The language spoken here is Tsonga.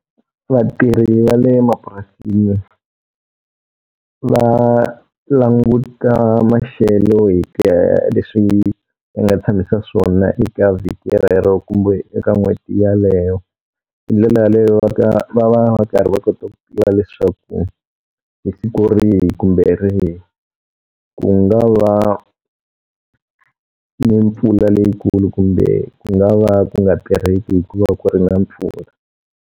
Vatirhi va le mapurasini va languta maxelo hi ku ya hi leswi ma nga tshamisa swona eka vhiki rero kumbe eka n'hweti yeleyo. Hi ndlela yaleyo va va va va karhi va kota ku tiva leswaku, hi siku rihi kumbe rihi ku nga va ni mpfula leyikulu kumbe ku nga va ku nga tirheki hikuva ku ri na mpfula.